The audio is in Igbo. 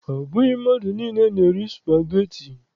Ọ bụghị mmadụ na-eri spageti